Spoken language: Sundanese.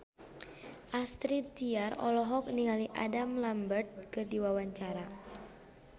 Astrid Tiar olohok ningali Adam Lambert keur diwawancara